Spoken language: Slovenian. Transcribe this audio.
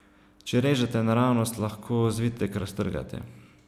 Če režete naravnost, lahko zvitek raztrgate.